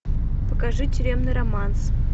покажи тюремный романс